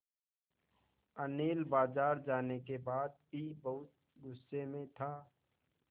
अनिल बाज़ार जाने के बाद भी बहुत गु़स्से में था